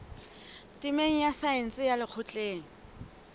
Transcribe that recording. temeng ya saense ya lekgotleng